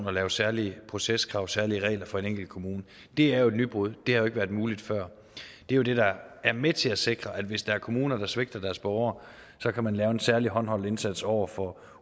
og lave særlige proceskrav særlige regler for en enkelt kommune det er jo et nybrud det har ikke været muligt før det er det der er med til at sikre at hvis der er kommuner der svigter deres borgere så kan man lave en særlig håndholdt indsats over for